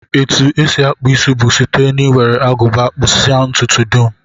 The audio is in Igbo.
Etu e si akpụ isi bụ site n'iwere Agụba kpụpụsịa ntụtụ dum